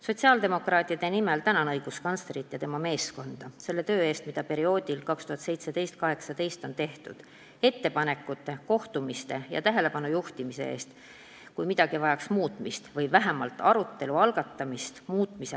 Sotsiaaldemokraatide nimel tänan õiguskantslerit ja tema meeskonda selle töö eest, mida perioodil 2017–2018 on tehtud, ettepanekute, kohtumiste ja tähelepanu juhtimise eest, kui midagi vajab muutmist või vähemalt arutelu selle üle.